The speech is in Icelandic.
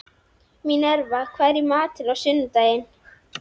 Mínerva, hvað er í matinn á sunnudaginn?